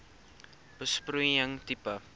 besproeiing tipe